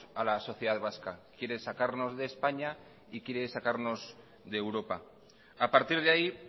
a la sociedad vasca quiere sacarnos de españa y quiere sacarnos de europa a partir de ahí